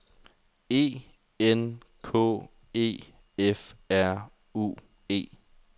E N K E F R U E